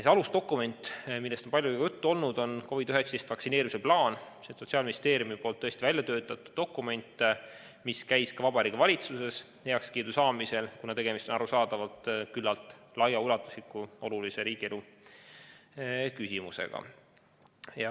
See alusdokument, millest on palju juttu olnud, on COVID-19 vaktsineerimise plaan, Sotsiaalministeeriumis välja töötatud dokument, mis sai ka Vabariigi Valitsuselt heakskiidu, kuna tegemist on arusaadavalt küllaltki laiaulatusliku olulise riigielu küsimusega.